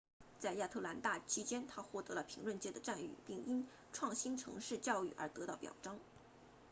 在亚特兰大期间她获得了评论界的赞誉并因创新城市教育而得到表彰